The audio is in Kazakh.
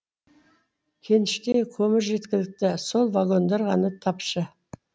кеніште көмір жеткілікті сол вагондар ғана тапшы